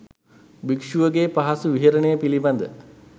භික්‍ෂුවගේ පහසු විහරණය පිළිබඳව